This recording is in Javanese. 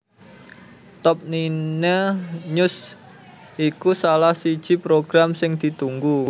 Top Nine News iku salah siji program sing ditunggu